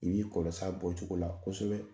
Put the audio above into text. I b'i kɔlɔs'a bɔcogo la kosɛbɛ.